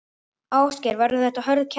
Ásgeir: Verður þetta hörð keppni?